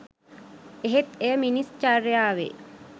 එහෙත් එය මිනිස් චර්යාවේ